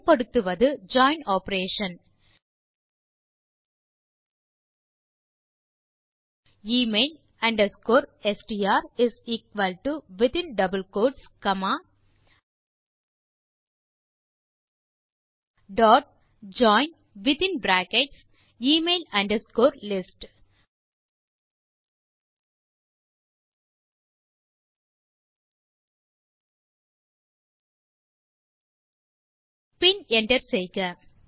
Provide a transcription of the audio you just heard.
பயன்படுத்துவது join operation email str is equal to in double quotes comma dot join பின் in brackets email underscore list பின் enter செய்க